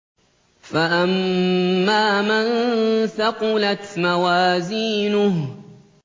فَأَمَّا مَن ثَقُلَتْ مَوَازِينُهُ